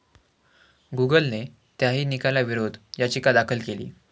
गुगलने त्याही निकालाविरोधात याचिका दाखल केली आहे.